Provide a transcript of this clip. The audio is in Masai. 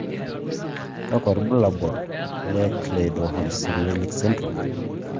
kakwa ibulabul he Cleidorhizomelic syndrome.